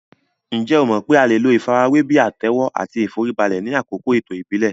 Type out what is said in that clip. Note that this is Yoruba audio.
Ǹjẹ́ o mọ̀ pé a lè lo ìfarajúwe bíi àtẹ́wọ́ àti ìforíbalẹ̀ ni àkókò ètò ìbílẹ̀